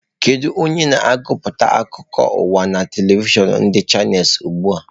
Kedu onye na-agụpụta akụkọ ụwa na telivishọn ndị chanels ugbu a?